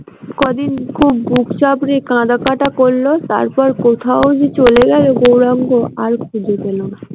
কদিন খুব বুক চাপড়ে কাঁদাকাটা করলো তারপর কোথায় যে চলে গেল গৌরাঙ্গ আর খুঁজে পেল না।